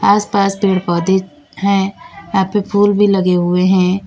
आस पास पेड़ पौधे हैं यहां पे फूल भी लगे हुए हैं।